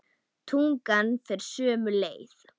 Tungan fer sömu leið.